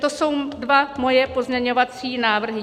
To jsou moje dva pozměňovací návrhy.